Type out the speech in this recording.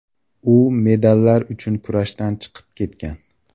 U medallar uchun kurashdan chiqib ketgan.